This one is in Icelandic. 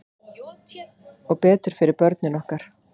Og betur fyrir börnin ykkar.